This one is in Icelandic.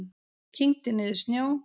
Kyngdi niður snjó.